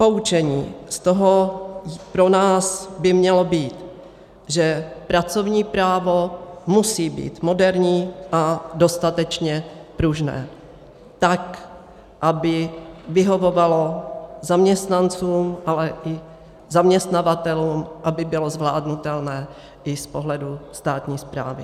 Poučení z toho pro nás by mělo být, že pracovní právo musí být moderní a dostatečně pružné, tak aby vyhovovalo zaměstnancům, ale i zaměstnavatelům, aby bylo zvládnutelné i z pohledu státní správy.